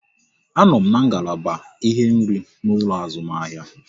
A nọ m n'ngalaba ihe nri n'ụlọ azụmahịa